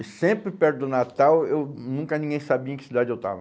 E sempre perto do Natal, eu nunca ninguém sabia em que cidade eu estava.